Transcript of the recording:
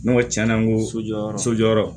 N'o tiɲɛna n ko sojɔ yɔrɔ so jɔyɔrɔ